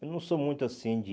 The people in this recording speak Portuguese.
Eu não sou muito assim de...